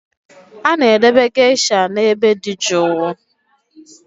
A na-edobe geishas n'ebe dị jụụ